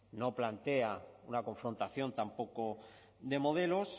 no plantea una confrontación tampoco de modelos